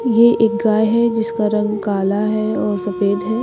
यह एक गाय है जिसका रंग काला है और सफेद है।